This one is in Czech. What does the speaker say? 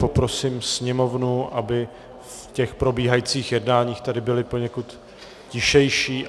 Poprosím sněmovnu, aby v těch probíhajících jednáních tady byli poněkud tišší.